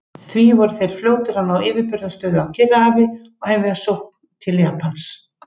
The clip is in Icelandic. Því voru þeir fljótir að ná yfirburðastöðu á Kyrrahafi og hefja sókn til Japans.